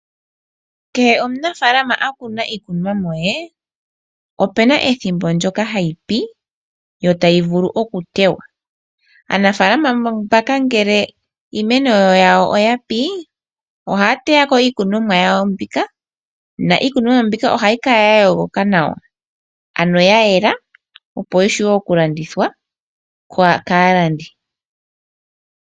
Kehe omunafaalama okuna iikunomwa ye, opena ethimbo ndyoka hayi pi, yo tayi vulu okutewa. Aanafaalama mbaka ngele iimeno yawo oya pi, ohaya teya ko iikunomwa yawo mbika, na iikunomwa ohayi kala ya yooloka nawa, ano ya yela opo yi vule oku landithwa kaalandi.